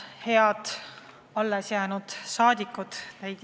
Head kohale jäänud saadikud!